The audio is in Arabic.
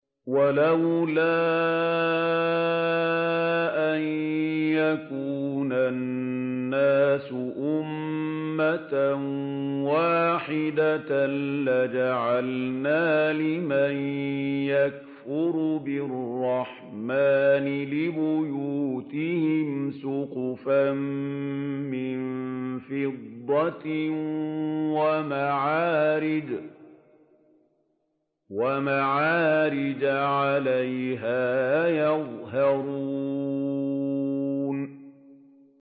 وَلَوْلَا أَن يَكُونَ النَّاسُ أُمَّةً وَاحِدَةً لَّجَعَلْنَا لِمَن يَكْفُرُ بِالرَّحْمَٰنِ لِبُيُوتِهِمْ سُقُفًا مِّن فِضَّةٍ وَمَعَارِجَ عَلَيْهَا يَظْهَرُونَ